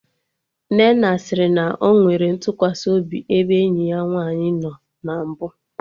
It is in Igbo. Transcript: Nnenna sịrị na ọ nwere ntụkwasị obi ebe enyi ya nwaanyị nọ na mbụ